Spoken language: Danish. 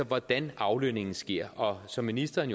hvordan aflønningen sker og som ministeren